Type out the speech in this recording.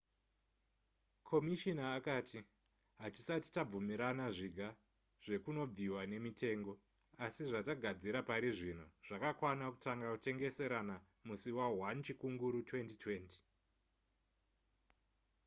komishina akati hatisati tabvumirana zviga zvekunobviwa nemitengo asi zvatagadzira parizvino zvakakwana kutanga kutengeserana musi wa1 chikunguru 2020